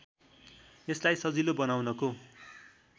यसलाई सजिलो बनाउनको